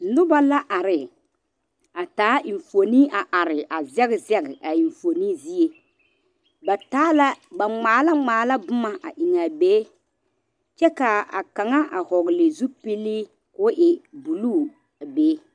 noba la are a taa enfuone a are a zɛge zɛge a enfuone zie ba taa la ba ngmaa la ngmaa la boma a engaa be kyɛ kaa kanga a vɔgle zupilii koo e buluu a be